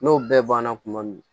N'o bɛɛ banna kuma min